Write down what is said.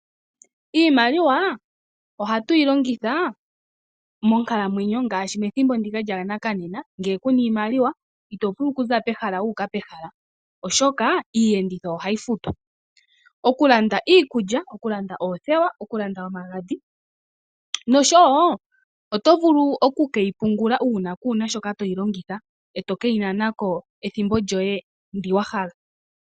Iimaliwa ohatu yi longitha monkalamwenyo ngaashi methimbo ndika lyonena. Ngele kuna iimaliwa ito vulu okuza pehala wuula pehala, oshoka iiyenditho ohayi fatwa. Okulanda iikulya, oothewa omagadhi. Ohayi vulu okupungulwa uuna kuna shoka toyi longitha,e toyi nana ko ethimbo ndyoka wa hala.